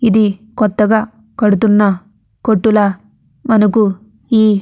ఇది కొత్తగా కడుతున్న కొట్టుల ఈ --